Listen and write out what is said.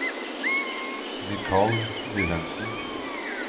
Mikael Wilhelmsen